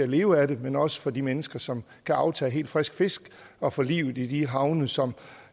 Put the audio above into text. leve af det men også for de mennesker som kan aftage helt frisk fisk og for livet i de havne som